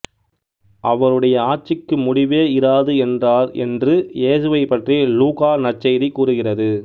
அவருடைய ஆட்சிக்கு முடிவே இராது என்றார் என்று இயேசுவைப் பற்றி லூக்கா நற்செய்தி கூறுகிறது